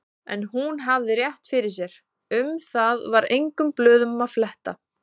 En hún hafði rétt fyrir sér, um það var engum blöðum að fletta.